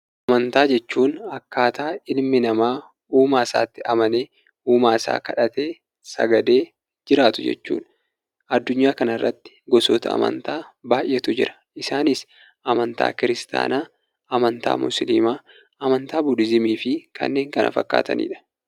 Amantaa jechuun akkaataa ilmi namaa uumaa isaatti amanee, uumaa isaa kadhatee sagadee jiraatu jechuudha. Addunyaa kanarratti gosoota amantaa baay'eetu jira. Isaanis: amantaa Kiristaanaa, amantaa Musliimaa, amantaa Budihiizimii fi kanneen kana fakkaatanidha.